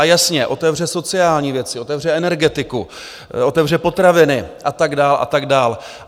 A jasně, otevře sociální věci, otevře energetiku, otevře potraviny a tak dál a tak dál.